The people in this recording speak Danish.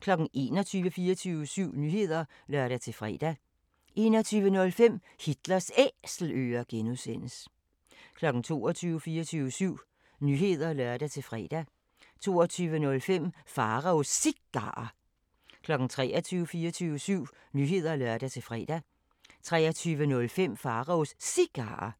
21:00: 24syv Nyheder (lør-fre) 21:05: Hitlers Æselører (G) 22:00: 24syv Nyheder (lør-fre) 22:05: Pharaos Cigarer 23:00: 24syv Nyheder (lør-fre) 23:05: Pharaos Cigarer